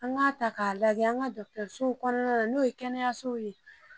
An k'a ta k'a lajɛ an ka dɔgɔtɔrɔsow kɔnɔna na n'o ye kɛnɛyasow ye.